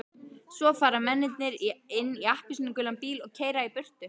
Svo fara mennirnir inn í appelsínugulan bíl og keyra burtu.